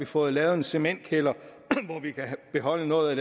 fået lavet en cementkælder hvor vi kan beholde noget